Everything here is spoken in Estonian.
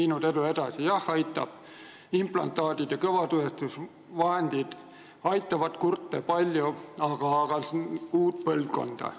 Jah, on aidanud küll, implantaadid ja kõnetuvastusvahendid aitavad kurte palju, aga uut põlvkonda.